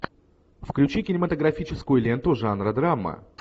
включи кинематографическую ленту жанра драма